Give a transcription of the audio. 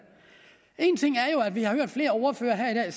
vi har hørt flere ordførere her